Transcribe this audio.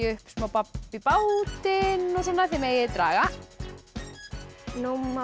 upp smá babb í bátinn þið megið draga nú má